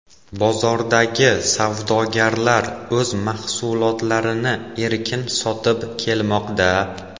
Bozordagi savdogarlar o‘z mahsulotlarini erkin sotib kelmoqda.